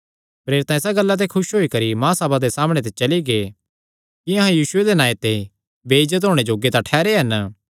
प्रेरित इसा गल्ला ते खुस होई करी महासभा दे सामणै ते चली गै कि अहां यीशुये दे नांऐ तांई बेइज्जत होणे जोग्गे तां ठेहरै हन